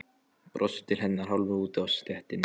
Brosir til hennar hálfur úti á stéttinni.